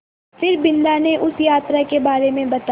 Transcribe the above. फिर बिन्दा ने उसे यात्रा के बारे में बताया